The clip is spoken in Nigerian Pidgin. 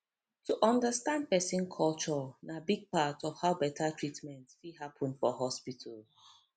to understand person culture na big part of how better treatment fit happen for hospital